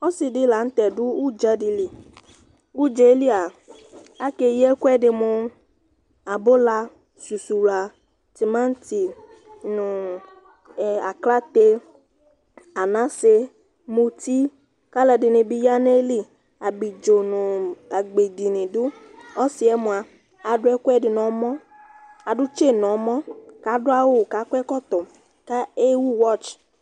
ɔsidi laŋtɛ du udza dili, udzelia akeyi ɛkuɛdi mu abula susuwla timanti nu aklate anase muti kalɔdinibi ya neli, abidzo nu agbedi nidu Ɔsiɛ mua aduɛkuɛdi nɔmɔ Aɖu tse nɔmɔ kaduawu kakuɛkɔtɔ ka ewu wɔts